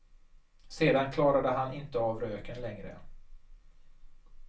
Sedan klarade han inte av röken längre.